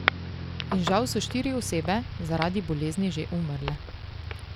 In žal so štiri osebe zaradi bolezni že umrle.